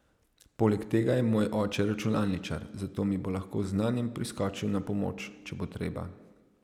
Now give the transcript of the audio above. Poleg tega je moj oče računalničar, zato mi bo lahko z znanjem priskočil na pomoč, če bo treba.